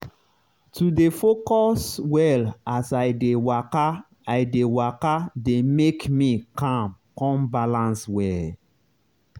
to dey focus well as i dey waka i dey waka dey make me calm con balance well.